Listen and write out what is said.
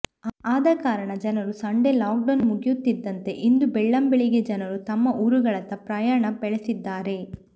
ಆದಕಾರಣ ಜನರು Sunday lockdown ಮುಗಿಯುತ್ತಿದ್ದಂತೆ ಇಂದು ಬೆಳ್ಳಂಬೆಳಿಗ್ಗೆ ಜನರು ತಮ್ಮ ಊರುಗಳತ್ತ ಪ್ರಯಾಣ ಬೆಳೆಸಿದ್ದಾರೆ